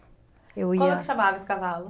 Eu ia. Como é que chamava esse cavalo?